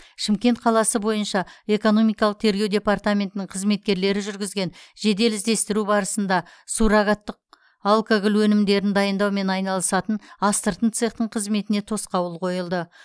шымкент қаласы бойынша экономикалық тергеу департаментінің қызметкерлері жүргізген жедел іздестіру барысында суррогаттық алкоголь өнімдерін дайындаумен айналысатын астыртын цехтың қызметіне тосқауыл қойылды